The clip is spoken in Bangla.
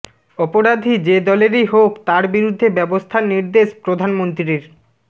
অপরাধী যে দলেরই হোক তার বিরুদ্ধে ব্যবস্থার নির্দেশ প্রধানমন্ত্রীর